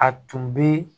A tun bɛ